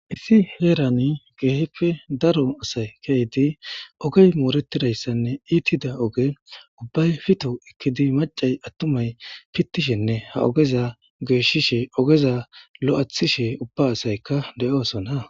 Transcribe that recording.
Isi heerani geeheppe daro asay kehydi ogey mooretidayssanne iitida oge ubbay fito ikkidi macay attumay pittishenne ha ogeza geeshishe ogeza lo'athishe ubba asaykka de'oosona.